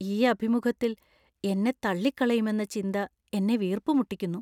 ഈ അഭിമുഖത്തിൽ എന്നെ തള്ളികളയുമെന്ന ചിന്ത എന്നെ വീർപ്പുമുട്ടിക്കുന്നു.